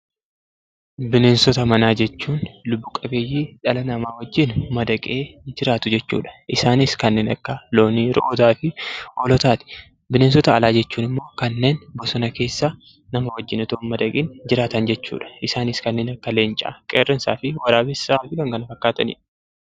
Bineensota manaa jechuun lubbu-qabeeyyii dhala namaa wajjin madaqee jiraatu jechuu dha. Isaanis kanneen akka loonii, re'ootaa fi hoolotaati. Bineensota alaa jechuun immoo kanneen bosona keessa nama wajjin otoo hin madaqin jiraatan jechuu dha. Isaanis akka leencaa, qeerransaa fi waraabessaa fi kan kana fakkaatan dha.